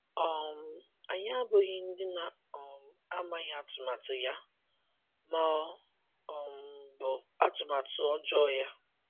“ um Anyị abụghị ndị na um - amaghị atụmatụ ya, ” ma ọ um bụ atụmatụ ọjọọ ya.